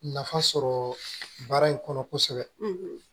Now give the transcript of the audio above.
Nafa sɔrɔ baara in kɔnɔ kosɛbɛ